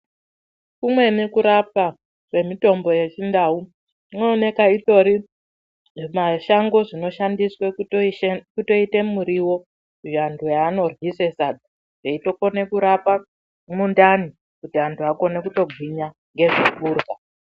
Kumweni kurapwa kwemutombo yechindau kunooneka utori zvimashango unoita muriwo vantu vanoryisa kuite sadza veitokone kurapa mundani kuti akone kutogwinya ngezve kurya.